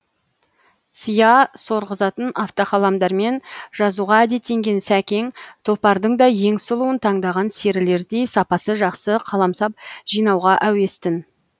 сия сорғызатын автоқаламдармен жазуға әдеттенген сәкең тұлпардың да ең сұлуын таңдаған серілердей сапасы жақсы қаламсап жинауға әуес тін